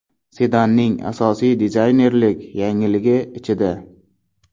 Sedanning asosiy dizaynerlik yangiligi ichida.